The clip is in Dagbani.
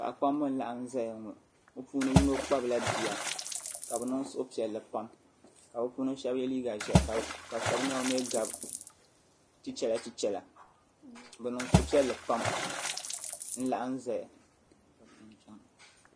Paɣi kpamba n laɣim ziya ŋɔ bi puuni so kpabila biya ka bi niŋ suhupiɛlli pam ka bipuɣinsi shɛba yɛ liiga zeahi ka shɛb niɛma mi gabi chichɛra chichɛra bi niŋ suhupiɛlli pam nlaɣim zaya